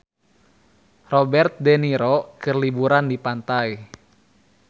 Robert de Niro keur liburan di pantai